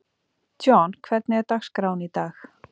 John, hvernig er dagskráin í dag?